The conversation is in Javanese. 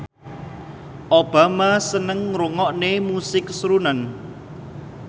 Obama seneng ngrungokne musik srunen